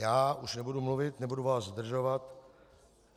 Já už nebudu mluvit, nebudu vás zdržovat.